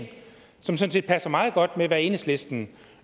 som sådan set passer meget godt med hvad enhedslisten